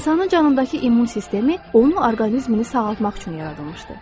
İnsanın canındakı immun sistemi onu orqanizmini sağaltmaq üçün yaradılmışdı.